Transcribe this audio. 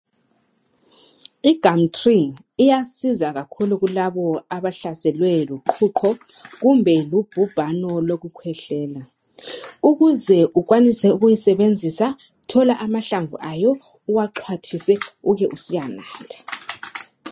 I gumtree iyasiza kakhulu kulabo abahlaselwe luqhuqho kumbe lubhubhano lokukhwehlela ukuze ukwanise ukuyisebenzisa thola amahlamvu ayo uwaxhwathise ube usuyanatha.